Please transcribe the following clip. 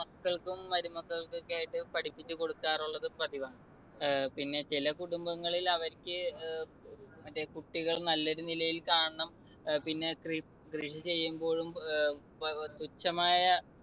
മക്കൾക്കും മരുമക്കൾക്കൊക്കെയായിട്ട് പഠിപ്പിച്ചു കൊടുക്കാറുള്ളത് പതിവാ. ഏർ പിന്നെ ചില കുടുംബങ്ങളിൽ അവർക്ക് കുട്ടികൾ നല്ല ഒരു നിലയിൽ കാണണം. പിന്നെ കൃ ~കൃഷി ചെയ്യുമ്പോഴും ഏർ തുച്ഛമായ